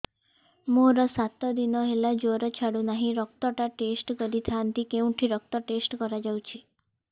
ମୋରୋ ସାତ ଦିନ ହେଲା ଜ୍ଵର ଛାଡୁନାହିଁ ରକ୍ତ ଟା ଟେଷ୍ଟ କରିଥାନ୍ତି କେଉଁଠି ରକ୍ତ ଟେଷ୍ଟ କରା ଯାଉଛି